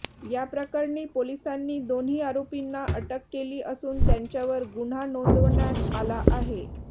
याप्रकरणी पोलिसांनी दोन्ही आरोपींना अटक केली असून त्यांच्यावर गुन्हा नोंदवण्यात आला आहे